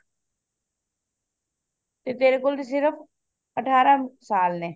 ਤੇ ਤੇਰੇ ਕੋਲ ਸਿਰਫ ਅਠਾਰਹ ਸਾਲ ਨੇ